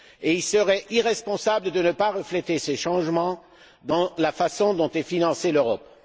Il serait irresponsable de ne pas refléter ces changements dans la façon dont est financée l'Europe.